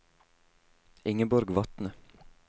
Ingeborg Vatne